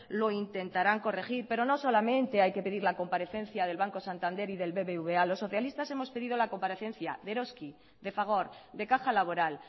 lo intentarán corregir pero no solamente hay que pedir la comparecencia del banco santander y del bbva los socialistas hemos pedido la comparecencia de eroski de fagor de caja laboral